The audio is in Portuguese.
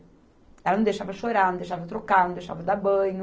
Ela não deixava chorar, não deixava trocar, não deixava dar banho.